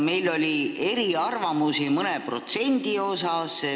Meil oli mõne protsendi osas eriarvamusi.